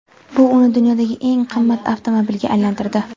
Bu uni dunyodagi eng qimmat avtomobilga aylantirdi.